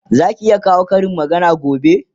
Zaki iya kawo Karin magana gobe?